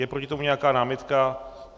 Je proti tomu nějaká námitka?